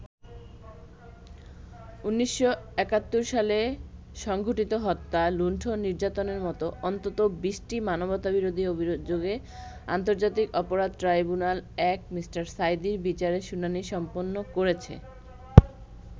১৯৭১ সালে সংঘটিত হত্যা, লুণ্ঠন, নির্যাতনের মতো অন্তত ২০টি মানবতাবিরোধী অভিযোগে আন্তর্জাতিক অপরাধ ট্রাইব্যুনাল-১ মি. সাঈদীর বিচারের শুনানি সম্পন্ন করেছে।